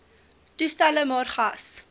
toestelle maar gas